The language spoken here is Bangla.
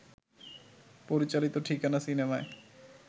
পরিচালিত ঠিকানা সিনেমায়